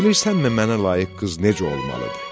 Bilirsənmi mənə layiq qız necə olmalıdır?